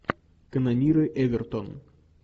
канониры эвертон